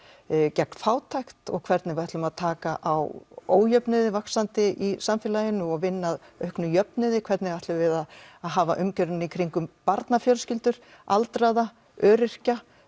gegn fátækt og hvernig við ætlum að taka á ójöfnuði vaxandi í samfélaginu og vinna að auknum jöfnuði hvernig ætlum við að hafa umgjörðina í kringum barnafjölskyldur aldraða öryrkja